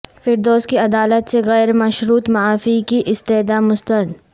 فردوس کی عدالت سے غیر مشروط معافی کی استدعا مسترد